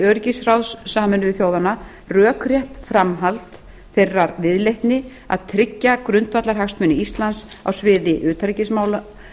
öryggisráðs sameinuðu þjóðanna rökrétt framhald þeirrar viðleitni að tryggja grundvallarhagsmuni íslands á sviði utanríkismála